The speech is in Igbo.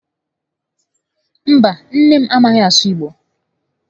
Mba, nne m a maghị asụ Igbo